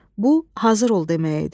Bu hazır ol demək idi.